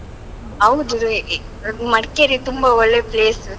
ಹೌದು. ಮಡಿಕೇರಿ ತುಂಬಾ ಒಳ್ಳೇ place .